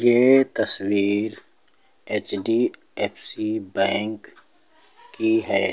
ये तस्वीर HDFC bank की है।